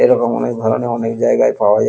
এবং অনেক ধরণের অনেক জায়গায় পাওয়া যায়।